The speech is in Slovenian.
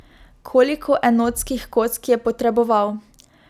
Koliko enotskih kock je potreboval?